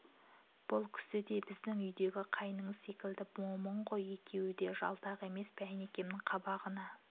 бұл кісі де біздің үйдегі қайныңыз секілді момын ғой екеуі де жалтақ емес пе әйнекемнің қабағына